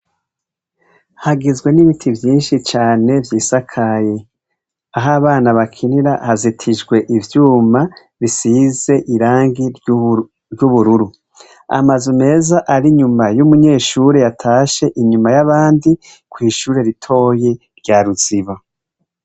Hagizwe n'ibiti vyinshi vyisakaye. Aho abana bakinira hazitijwe ivyuma bisize irangi ry'ubururu. Amazu meza ari inyuma y'umunyeshure yatashe inyuma y'abandi kw'ishure ritoyi rya Ruziba.